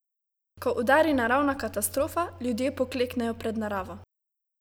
Ko udari naravna katastrofa, ljudje pokleknejo pred naravo.